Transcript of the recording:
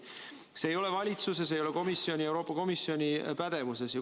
See ei ole valitsuse ja see ei ole Euroopa Komisjoni pädevuses.